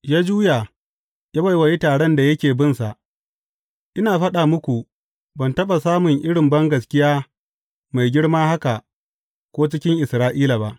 Ya juya ya wa taron da yake bin sa, Ina faɗa muku, ban taɓa samun irin bangaskiya mai girma haka ko cikin Isra’ila ba.